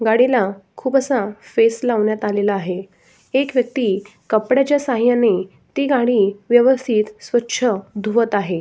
गाडीला खुप असा फेस लावण्यात आलेला आहे. एक व्यक्ति कपड्याच्या सहाय्याने ती गाडी स्वच्छ धुवत आहे.